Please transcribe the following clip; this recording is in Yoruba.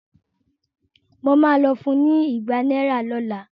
Mo ma lọ fun ní igba náírà lọ́la